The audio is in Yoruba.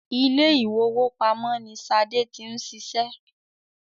Ilé ìwowópamọ́ ní Ṣadé ti ń ṣiṣẹ́